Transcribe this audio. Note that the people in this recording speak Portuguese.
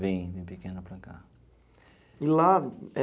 Vim, vim pequeno para cá. E lá eh.